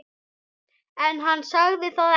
En hann sagði það ekki.